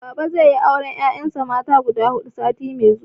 Baba zai yi auren 'ya'yan shi mata guda hudu sati mai zuwa.